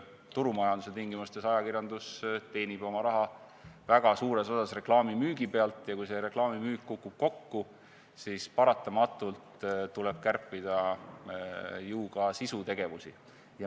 Turumajanduse tingimustes teenib ajakirjandus oma raha väga suures osas reklaamimüügi pealt ja kui see reklaamimüük kukub kokku, siis paratamatult tuleb kärpida ju ka sisutegevust.